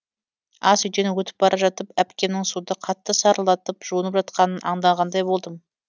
ас үйден өтіп бара жатып әпкемнің суды қатты сарылдатып жуынып жатқанын аңдағандай болдым